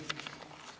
Avan läbirääkimised.